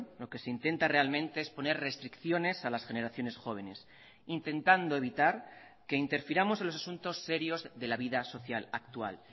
lo que se intenta realmente es poner restricciones a las generaciones jóvenes intentando evitar que interfiramos en los asuntos serios de la vida social actual